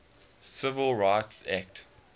civil rights act